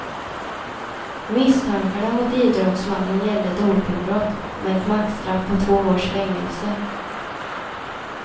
Misstankarna mot idrottsmannen gäller dopingbrott, med ett maxstraff på två års fängelse.